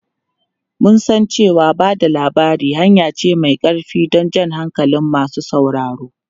Mun san cewa ba da labari hanya ce mai ƙarfi don jan hankalin masu sauraro.